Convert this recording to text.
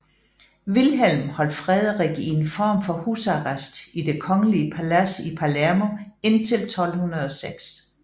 Vilhelm holdt Frederik i en form for husarrest i det kongelige palads i Palermo indtil 1206